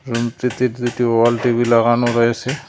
রুমটিতে দুইটি wall TV লাগানো রয়েসে।